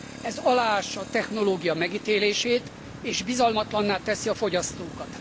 Ez aláássa a technológia megítélését, és bizalmatlanná teszi a fogyasztókat.